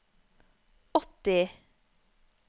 åtti